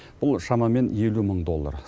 бұл шамамен елу мың доллар